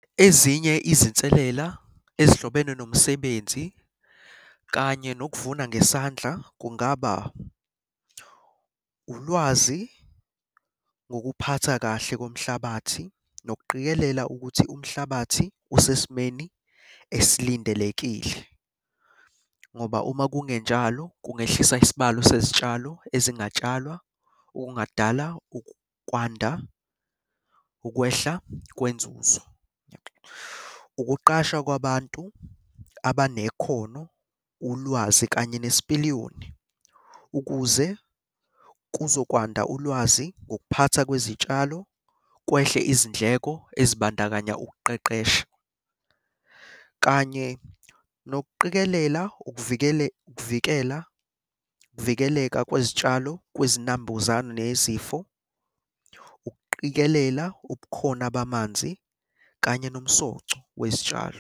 Ezinye izinselela ezihlobene nomsebenzi kanye nokuvuna ngesandla kungaba, ulwazi ngokuphatha kahle komhlabathi nokuqikelela ukuthi umhlabathi usesimeni esilindelekile, ngoba uma kungenjalo kungehlisa isibalo sezitshalo ezingatshalwa. Okungadala ukwanda ukwehla kwenzuzo. Ukuqashwa kwabantu abanekhono, ulwazi kanye nesipiliyoni, ukuze kuzokwanda ulwazi ngokuphathwa kwezitshalo. Kwehle izindleko ezibandakanya ukuqeqesha, kanye nokuqikelela ukuvikela ukuvikeleka kwesitshalo, kwezinambuzane nezifo. Ukuqikelela ubukhona bamanzi kanye nomsoco wezitshalo.